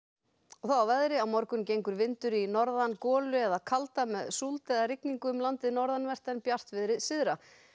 að veðri á morgun gengur vindur í norðan golu eða kalda með súld eða rigningu um landið norðanvert en bjartviðri syðra